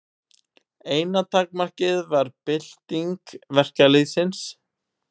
Eina takmarkið var bylting verkalýðsins.